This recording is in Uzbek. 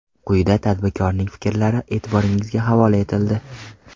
Quyida tadbirkorning fikrlari e’tiboringizga havola etildi.